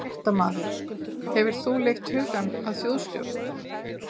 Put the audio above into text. Fréttamaður: Hefur þú leitt hugann að þjóðstjórn?